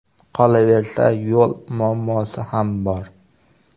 Qolaversa, yo‘l muammosi ham bor.